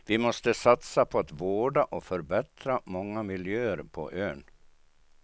Vi måste satsa på att vårda och förbättra många miljöer på ön.